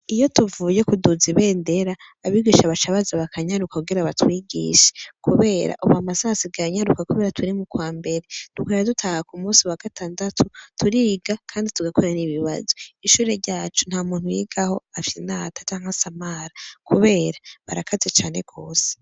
Iyo tuvuye kuduza ibendera, abigisha baca baza bakanyaruka kugira batwigisha, kubera ubu amasaha asigaye anyaruka kubera turi mukwambere. Tugaca dutaha kumusi wa gatandatu, turiga, kandi tugakora n'ibibazo. Ishure ryacu, ntamuntu yigaho afyinata, canke asamara. Kubera barakaze cane gose.